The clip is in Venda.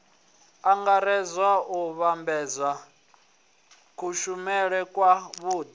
angaredza u vhambedza kushumele kwavhui